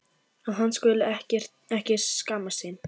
Að hann skuli ekki skammast sín.